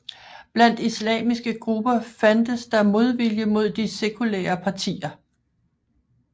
Blandt islamiske grupper fandtes der modvilje mod de sekulære partier